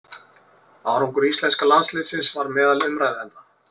Árangur íslenska landsliðsins var meðal umræðuefna.